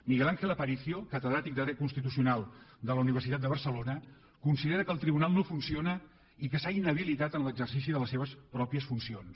miguel ángel aparicio catedràtic de dret constitucional de la universitat de barcelona considera que el tribunal no funciona i que s’ha inhabilitat en l’exercici de les seves mateixes funcions